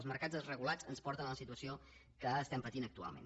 els mercats desregulats ens porten a la situació que estem patint actualment